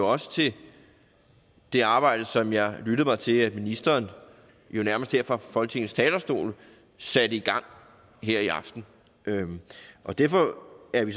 også til det arbejde som jeg har lyttet mig til at ministeren jo nærmest her fra folketingets talerstol satte i gang her i aften derfor er vi